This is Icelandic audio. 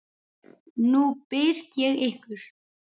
Nú bið ég ykkur